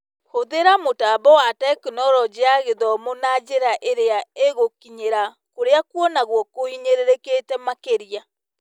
Hũthĩra mũtambo wa Tekinoronjĩ ya Gĩthomo na njĩra iria igũkinyĩra kũrĩa kuonagwo kũhinyĩrĩrĩkĩte makĩria